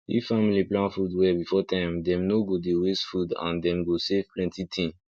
if family plan food well before time dem no go dey waste food and dem go save plenty thing